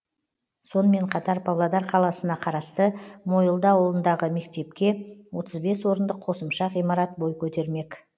сонымен қатар павлодар қаласына қарасты мойылды ауылындағы мектепке отыз бес орындық қосымша ғимарат бой көтермек